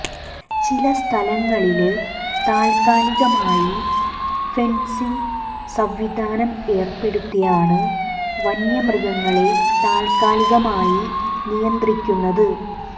ചില സ്ഥലങ്ങളില് താല്ക്കാലികമായി ഫെന്സിങ് സംവിധാനം ഏര്പ്പെടുത്തിയാണ് വന്യ മൃഗങ്ങളെ താല്ക്കാലികമായി നിയന്ത്രിക്കുന്നത്